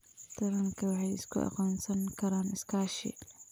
Taranka waxay isku aqoonsan karaan iskaashi.